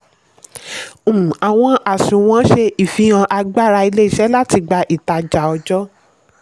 um àwọn àsunwon ṣe ìfihàn agbára ilé-iṣẹ́ láti gba ìtajà ọjọ́.